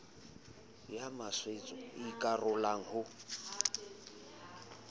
ya maswetso e ikarolang ho